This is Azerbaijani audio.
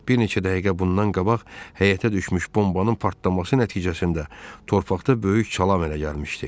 Bir neçə dəqiqə bundan qabaq həyətə düşmüş bombanın partlaması nəticəsində torpaqda böyük çala əmələ gəlmişdi.